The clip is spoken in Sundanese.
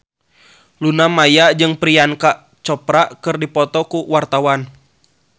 Luna Maya jeung Priyanka Chopra keur dipoto ku wartawan